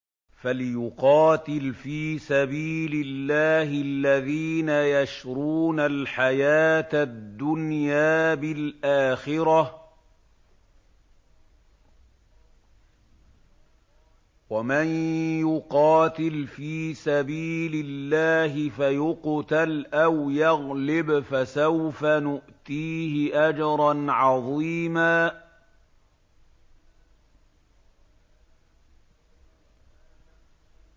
۞ فَلْيُقَاتِلْ فِي سَبِيلِ اللَّهِ الَّذِينَ يَشْرُونَ الْحَيَاةَ الدُّنْيَا بِالْآخِرَةِ ۚ وَمَن يُقَاتِلْ فِي سَبِيلِ اللَّهِ فَيُقْتَلْ أَوْ يَغْلِبْ فَسَوْفَ نُؤْتِيهِ أَجْرًا عَظِيمًا